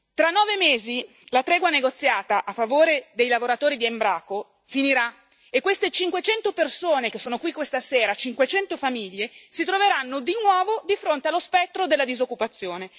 Tra nove mesi la tregua negoziata a favore dei lavoratori di Embraco finirà, e queste 500 persone che sono qui questa sera, 500 famiglie, si troveranno di nuovo di fronte allo spettro della disoccupazione.